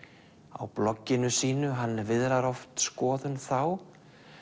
á blogginu sínu hann viðrar oft skoðun þá